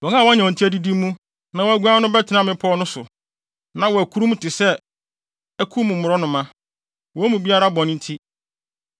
Wɔn a wɔanya wɔn ti adidi mu na wɔaguan no bɛtena mmepɔw no so. Na wɔakurum te sɛ aku mu mmorɔnoma, wɔn mu biara bɔne nti.